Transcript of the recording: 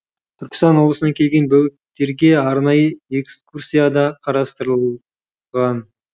түркістан облысынан келген бөбектерге арнайы экскурсия да қарастырыл ған